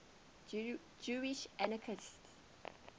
jewish anarchists